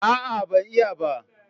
A'a, ban iya ba.